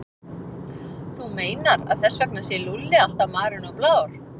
Þú meinar að þess vegna sé Lúlli alltaf marinn og blár?